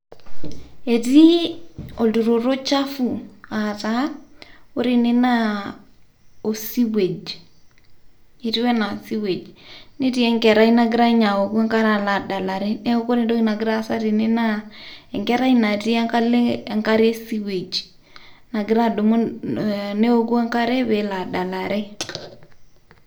Etii olturoto chafu ataa wore ene naa osewage netii enkerai nagira ninye awooku enkare adalare neeku wore entoki nagira aasa teene naa enkerai natii enkalo enkare e sewage nagira adumu newoku enkare pelo adala re